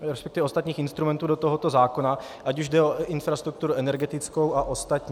resp. ostatních instrumentů do tohoto zákona, ať už jde o infrastrukturu energetickou a ostatní.